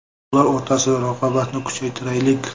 Ular o‘rtasida raqobatni kuchaytiraylik.